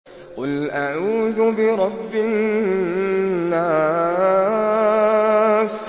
قُلْ أَعُوذُ بِرَبِّ النَّاسِ